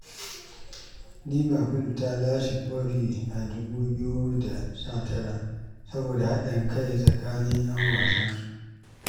Liverpool ta lashe kofi a dubu biyu da sha tara saboda haɗin kai tsakanin ‘yan wasansu.